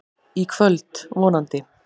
Í kvöld, vonandi.